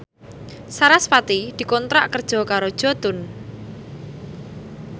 sarasvati dikontrak kerja karo Jotun